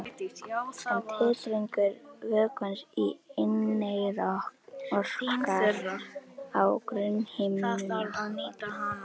En titringur vökvans í inneyra orkar á grunnhimnuna.